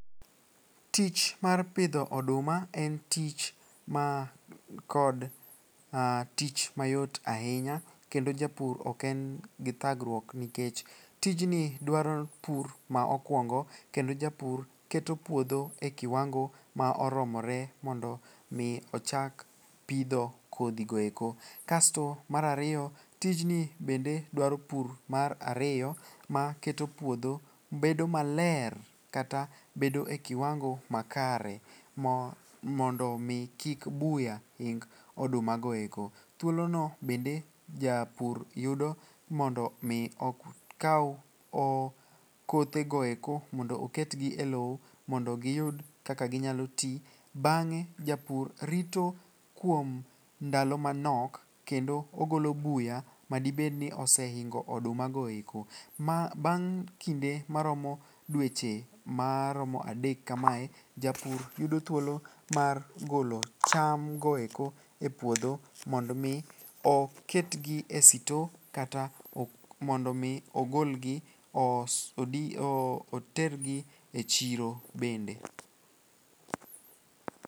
Tich mar pidho oduma en ticn man kod tich mayot ahinya kendo japur oken gi thagruok nikech tijni dwaro pur ma okwongo kendo japur keto puodho e kiwango ma oromore mondo mi ochak pidho kodhigoeko. Kasto mar ariyo tijni bende dwaero pur mar ariyo maketo puodho bedo maler kata bedo e kiwango makare mondo omi kik buya ing odumagoeko. Thuolono bende japur yudo mondo mi okaw kothegoeko mondo oketgi e lowo mondo giyud kaka ginyalo ti. Bang'e japur rito kuom ndalo manok kendo ogolo buya madibedni osehingo odumagoeko. Bnag' kinde maromo dweche maromo adek kamae japur yudo thuolo mar golo chamgoeko e puodho mondo omi oketgi e sito kata mondo omi ogolgi otergi e chiro bende.